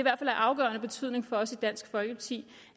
af afgørende betydning for os i dansk folkeparti